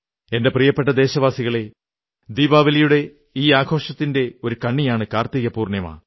എന്റെ പ്രിയപ്പെട്ട ദേശവാസികളേ ദീപാവലിയുടെ ഈ ആഘോഷത്തിന്റെ ഒരു കണ്ണിയാണ് കാർത്തിക പൂർണ്ണിമ